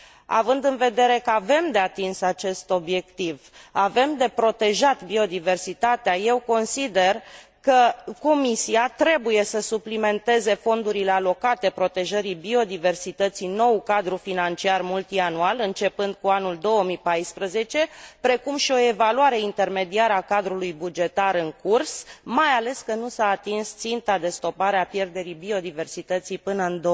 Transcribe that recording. Având de vedere că avem de atins acest obiectiv, avem de protejat biodiversitatea, eu consider că, Comisia trebuie să suplimenteze fondurile alocate protejării biodiversității în noul cadru financiar multianual, începând cu anul 2014, precum și o evaluare intermediară a cadrului bugetar în curs, mai ales că nu s a atins ținta de stopare a pierderii biodiversității până în